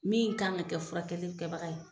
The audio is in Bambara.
Min kan ka kɛ furakɛli in kɛbaga ye.